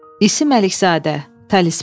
İsim Əlizadə, Talisman.